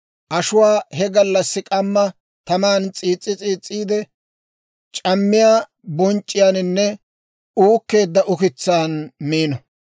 ashuwaa he gallassi k'amma taman s'iis's'i s'iis's'iide, c'ammiyaa bonc'c'iyaananne uukkeedda ukitsaanna miino.